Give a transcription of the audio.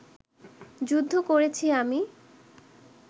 যুদ্ধ করেছি আমি